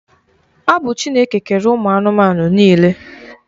Ọ bụ Chineke kere ụmụ anụmanụ niile.